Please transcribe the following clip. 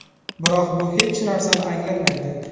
Biroq bu hech narsani anglatmaydi.